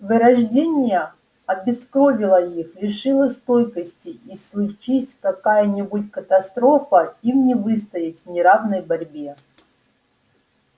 вырождение обескровило их лишило стойкости и случись какая-нибудь катастрофа им не выстоять в неравной борьбе